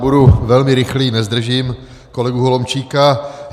Budu velmi rychlý, nezdržím kolegu Holomčíka.